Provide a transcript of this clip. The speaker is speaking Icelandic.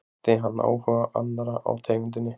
Vakti hann áhuga annarra á tegundinni.